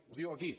ho diu aquí